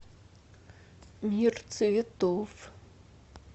мир цветов